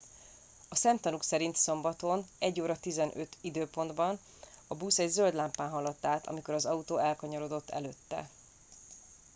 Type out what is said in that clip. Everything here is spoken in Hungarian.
a szemtanúk szerint szombaton 01:15 időpontban a busz egy zöld lámpán haladt át amikor az autó elkanyarodott előtte